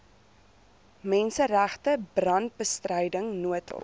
menseregte brandbestryding noodhulp